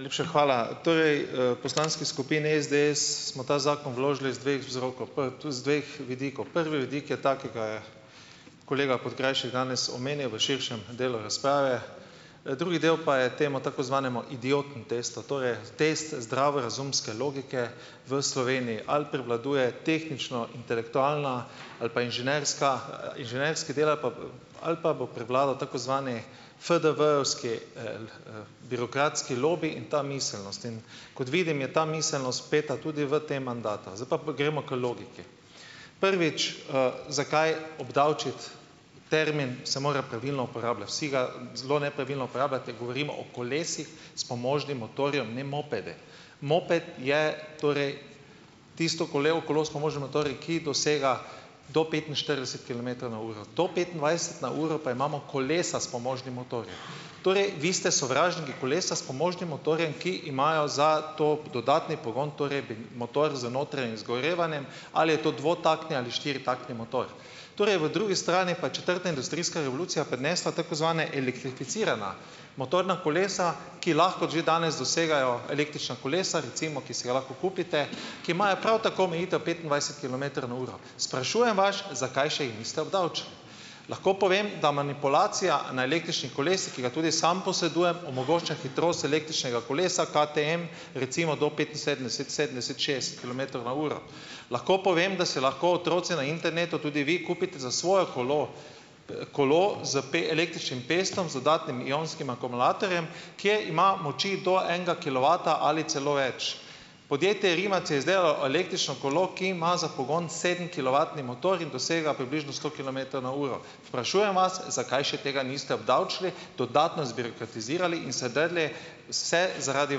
Najlepša hvala. Torej, v poslanski skupini SDS smo ta zakon vložili iz dveh vzrokov, pri tu z dveh vidikov. Prvi vidik je ta, ki ga je kolega Podkrajšek danes omenil v širšem delu razprave, drugi del pa je temu tako zvanemu idioten testo, torej test zdravorazumske logike v Sloveniji, ali prevladuje tehnično intelektualna ali pa inženirska, inženirski del ali ali pa bo prevladal tako zvani FDV-jevski birokratski lobi in ta miselnost. In kot vidim, je ta miselnost peta tudi v tem mandatu. Zdaj pa gremo k logiki. Prvič, zakaj obdavčiti. Termin se mora pravilno uporabljati. Vsi ga zelo nepravilno uporabljate. Govorimo o kolesih s pomožnim motorjem, ne mopede. Moped je torej tisto kolevo kolo s pomožnim motorjem, ki dosega do petinštirideset kilometrov na uro. To petindvajset na uro pa imamo kolesa s pomožnim motorjem. Torej vi ste sovražniki kolesa s pomožnim motorjem, ki imajo za to dodatni pogon torej motor z notranjim izgorevanjem, ali je to dvotaktni ali štiritaktni motor. Torej v drugi strani pa je četrta industrijska revolucija prinesla tako zvana elektrificirana motorna kolesa, ki lahko že danes dosegajo, električna kolesa, recimo, ki si ga lahko kupite, ki imajo prav tako omejitev petindvajset kilometrov na uro. Sprašujem vas, zakaj še jih niste obdavčili? Lahko povem, da manipulacija na električnih kolesih, ki ga tudi sam posedujem, omogoča hitrost električnega kolesa KTM recimo do petinsedemdeset, sedemdeset, šestdeset kilometrov na uro. Lahko povem, da si lahko otroci na internetu, tudi vi kupite za svojo kolo, pa kolo z električnim pestom z dodatnim ionskim akumulatorjem, kje ima moči do enega kilovata ali celo več. Podjetje Rimac je izdelalo električno kolo, ki ima za pogon sedemkilovatni motor in dosega približno sto kilometrov na uro. Sprašujem vas, zakaj še tega niste obdavčili, dodatno zbirokratizirali in se drli. Vse zaradi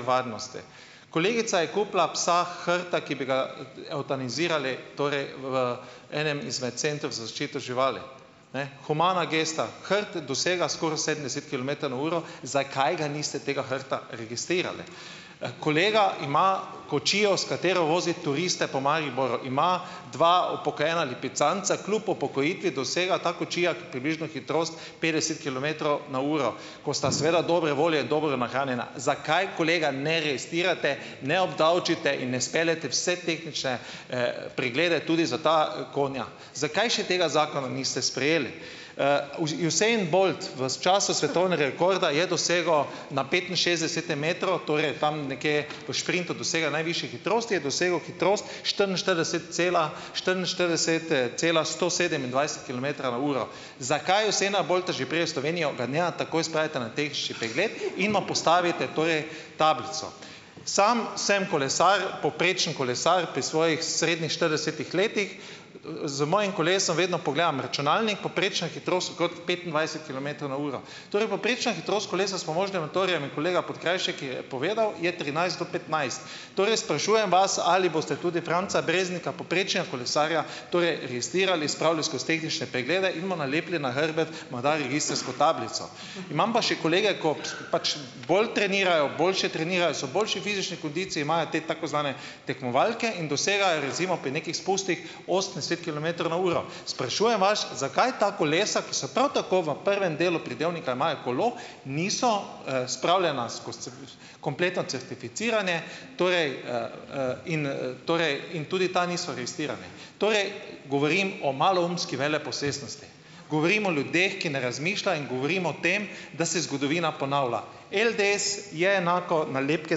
varnosti. Kolegica je kupila psa hrta, ki bi ga evtanazirali torej v enem izmed centrov za zaščito živali. Ne, humana gesta. Hrt dosega skoraj sedemdeset kilometrov na uro. Zakaj ga niste tega hrta registrirali? Kolega ima kočijo, s katero vozi turiste po Mariboru. Ima dva upokojena lipicanca. Kljub upokojitvi dosega ta kočija približno hitrost petdeset kilometrov na uro, ko sta seveda dobre volje in dobro nahranjena. Zakaj, kolega, ne registrirate, ne obdavčite in ne speljete vse tehnične, preglede tudi za ta konja? Zakaj še tega zakona niste sprejeli? Usain Bolt v času svetovne rekorda je dosegel na petinšestdesetem metru, torej tam nekje v šprintu dosega najvišje hitrosti, je dosegel hitrost štiriinštirideset cela, štiriinštirideset cela sto sedemindvajset kilometra na uro. Zakaj Usaina Bolta, že prej v Slovenijo, ga ne takoj spravite na tehnični pregled in mu postavite torej tablico? Sam sem kolesar, povprečen kolesar pri svojih srednjih štiridesetih letih. Z mojim kolesom vedno pogledam računalnik, povprečna hitrost okrog petindvajset kilometro na uro. Torej povprečna hitrost kolesa s pomožnim motorjem, kolega Podkrajšek je povedal, je trinajst do petnajst. Torej sprašujem vas, ali boste tudi Franca Breznika, povprečnega kolesarja torej registrirali, spravili skozi tehnične preglede in mu nalepili na hrbet morda registrsko tablico? Imam pa še kolege, ko pač bolj trenirajo, boljše trenirajo, so v boljši fizični kondiciji, imajo te tako zvane tekmovalke in dosegajo recimo pri nekih spustih osemdeset kilometrov na uro. Sprašujem vas, zakaj ta kolesa, ki so prav tako, v prvem delu pridevnika imajo kolo, niso, spravljena skozi kompletno certificiranje, torej in tudi ta niso registrirana? Torej govorim o maloumski veleposestnosti, govorim o ljudeh, ki ne razmišljajo, in govorim o tem, da se zgodovina ponavlja. LDS je enako nalepke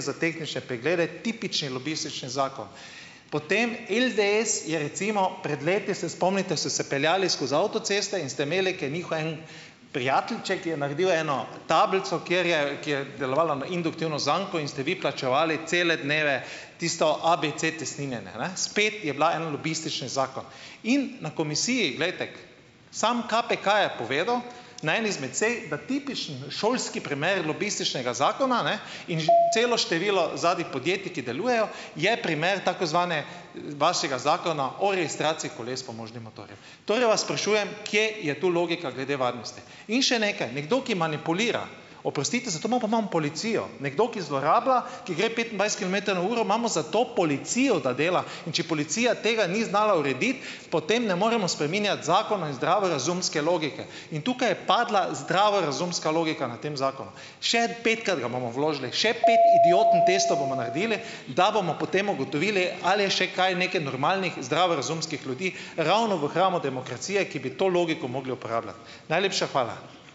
za tehnične preglede, tipični lobistični zakon. Potem LDS je recimo pred leti, se spomnite, so se peljali skozi avtocesto in ste imeli, ko je njihov en prijateljček je naredil eno tablico, kjer je kjer delovala na induktivno zanko, in ste vi plačevali cele dneve tisto ABC-cestninjenje. Spet je bila en lobistični zakon. In na komisiji, glejte, samo KPK je povedal na eni izmed sej, da tipični šolski primeri lobističnega zakona, ne, in ž celo število zadaj podjetij, ki delujejo, je primer tako zvanega, vašega zakona o registraciji koles s pomožnim motorjem. Torej vas sprašujem, kje je tu logika glede varnosti? In še nekaj, nekdo, ki manipulira, oprostite, zato imamo pa imamo policijo. Nekdo, ki zlorablja, ki gre petindvajset kilometrov na uro, imamo za to policijo, da dela, in če policija tega ni znala urediti, potem ne moremo spreminjati zakona in zdravo razumske logike in tukaj je padla zdravorazumska logika, na tem zakonu. Še petkrat ga bomo vložili, še pet idioten testov bomo naredili , da bomo potem ugotovili, ali je še kaj, nekaj normalnih, zdravorazumskih ljudi, ravno v hramu demokracije, ki bi to logiko mogli uporabljati. Najlepša hvala.